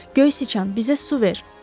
Göy siçan, bizə su ver.